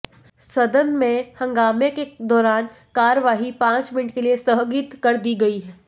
सदन में हंगामे के दौरान कार्यवाही पांच मिनट के लिए स्थगित कर दी गई